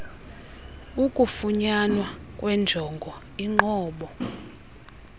ukufunyanwa kwenjongo inqobo